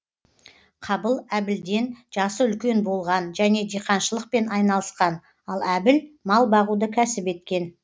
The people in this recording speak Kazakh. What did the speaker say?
қабыл әбілден жасы үлкен болған және диқаншылықпен айналысқан ал әбіл мал бағуды кәсіп еткен